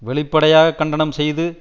வெளிப்படையாக கண்டனம் செய்தது